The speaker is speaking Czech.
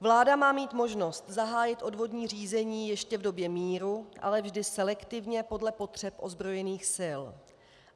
Vláda má mít možnost zahájit odvodní řízení ještě v době míru, ale vždy selektivně podle potřeb ozbrojených sil.